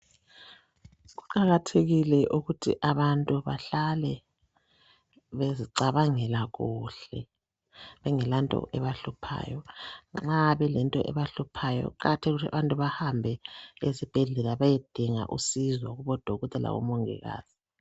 Kuqakathekile ukuthi abantu behlale bezicabangela kuhle kungelanto ebahluphayo nxa kukhona okubahluphayo kuqakathekile ukuthi baye ezibhedlela beyedinga usizo kubodokotela labomongikazi.